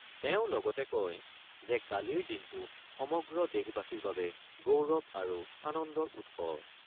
তেওঁ লগতে কয় যে কালিৰ দিনটো সমগ্ৰ দেশবাসীৰ বাবে গৌৰৱ আৰু আনন্দৰ উৎস।